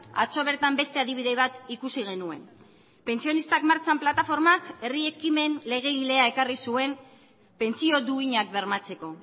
atzo bertan beste adibide bat ikusi genuen pentsionistak martxan plataformak herri ekimen legegilea ekarri zuen pentsio duinak bermatzeko